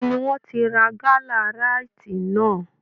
Ibo ni wọ́n ti ra gálà ráíìtì náà!